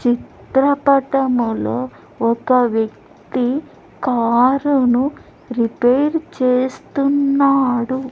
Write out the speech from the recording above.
చిత్రపటములో ఒక వ్యక్తి కారును రిపేరు చేస్తున్నాడు.